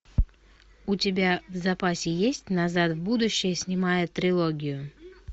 у тебя в запасе есть назад в будущее снимая трилогию